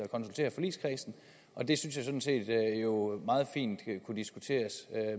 konsultere forligskredsen og det synes jeg sådan set meget fint kunne diskuteres